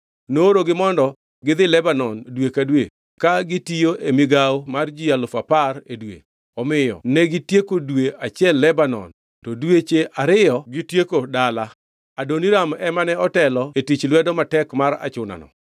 Noorogi mondo gi dhi Lebanon dwe ka dwe ka gitiyo e migawo mar ji alufu apar (10,000) e dwe, omiyo negitieko dwe achiel Lebanon to dweche ariyo gitieko dala. Adoniram ema ne otelo e tich lwedo matek mar achunano.